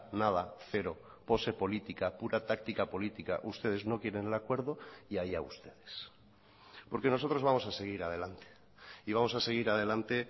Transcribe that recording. nada cero pose política pura táctica política ustedes no quieren el acuerdo y allá ustedes porque nosotros vamos a seguir adelante y vamos a seguir adelante